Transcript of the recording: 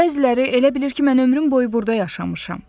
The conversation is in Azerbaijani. bəziləri elə bilir ki, mən ömrüm boyu burda yaşamışam.